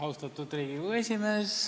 Austatud Riigikogu esimees!